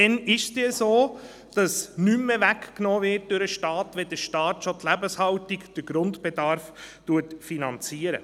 Dann ist es so, dass nichts mehr durch den Staat weggenommen wird, wenn es schon der Staat ist, der die Lebenshaltung, den Grundbedarf finanziert.